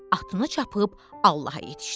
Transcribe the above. Atını çapıb Allaha yetişdi.